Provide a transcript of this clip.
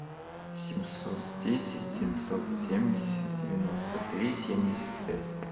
семьсот десять семьсот семьдесят девяносто три семьдесят пять